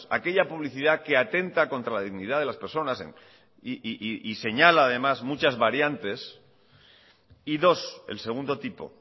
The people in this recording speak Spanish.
aquella publicidad que atenta contra la dignidad de las personas y señala además muchas variantes y dos el segundo tipo